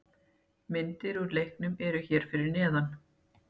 Myndir úr leiknum eru hér fyrir neðan